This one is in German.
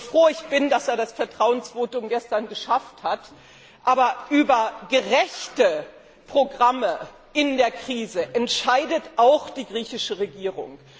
So froh ich bin, dass er das Vertrauensvotum gestern geschafft hat, aber über gerechte Programme in der Krise entscheidet auch die griechische Regierung.